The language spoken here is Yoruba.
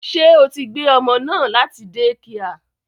Ṣé o tí gbé ọmọ náà láti dẹ́kià?